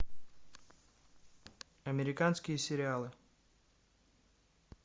американские сериалы